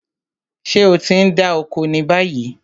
Ṣé o ti ń dá oko ni báyìí?